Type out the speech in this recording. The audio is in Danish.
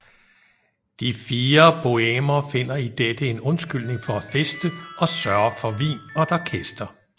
De fire bohèmer finder i dette en undskyldning for at feste og sørger for vin og et orkester